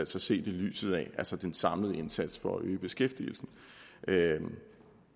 ses i lyset af altså den samlede indsats for at øge beskæftigelsen